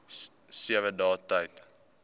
sewe dae tyd